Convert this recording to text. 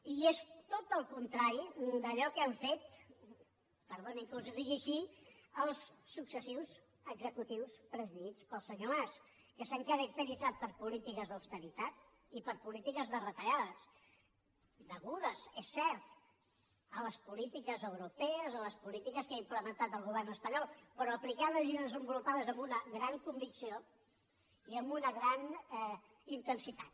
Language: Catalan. i és tot el contrari d’allò que han fet perdonin que els ho digui així els successius executius presidits pel senyor mas que s’han caracteritzat per polítiques d’austeritat i per polítiques de retallades degudes és cert a les polítiques europees a les polítiques que ha implementat el govern espanyol però aplicades i desenvolupades amb una gran convicció i amb una gran intensitat